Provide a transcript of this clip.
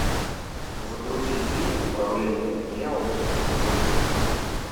загрузи фильм управление гневом эпизод четыре